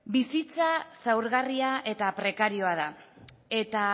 bizitza zaurgarria eta prekarioa da eta